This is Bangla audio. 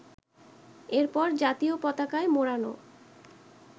এরপর জাতীয় পতাকায় মোড়ানো